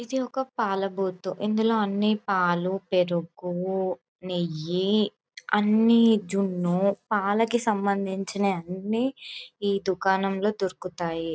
ఇది ఒక పాల బూతు . ఇందులో అన్ని పాలు పెరుగు నెయ్యి అనీ జున్నుపాలకి సంబంధించిన అన్ని ఈ దుకాణంలో దొరుకుతాయి.